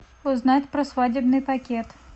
узнать про свадебный пакет